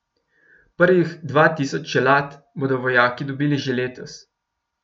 Prvih dva tisoč čelad bodo vojaki dobili že letos.